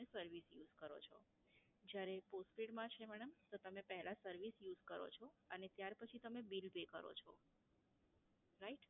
તમે service use કરો છો, જ્યારે postpaid માં છે madam તો તમે પહેલા service use કરો છો અને ત્યાર પછી તમે bill pay કરો છો. right?